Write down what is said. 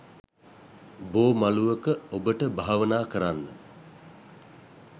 බෝ මළුවක ඔබට භාවනා කරන්න